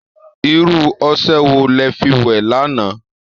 Irú ọṣẹ wo lẹ fi wẹ̀ lánàá?